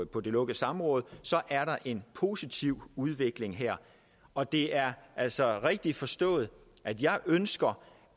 på det lukkede samråd så er der en positiv udvikling her og det er altså rigtigt forstået at jeg ønsker